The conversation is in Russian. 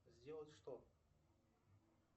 сделать что